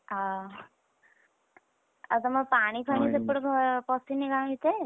ଆ ଆଉ ତମର ପାଣି ଫାଣି ସେପଟେ ପସିନି ଗାଁ ଭିତରେ?